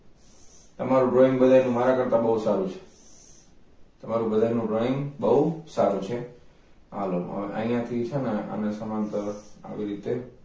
તમારું drawing બધાયને મારા કરતાં બવ સારુ છે તમારું બધાયનું drawing બવ સારુ છે હાલો હવે અહીંયાથી છે જે આને સમાંતર આવી રીતે